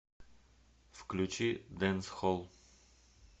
включи дэнсхолл